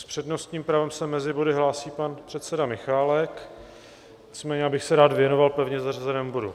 S přednostním právem se mezi body hlásí pan předseda Michálek, nicméně bych se rád věnoval pevně zařazenému bodu.